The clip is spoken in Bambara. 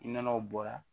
I nɔnɔw bɔra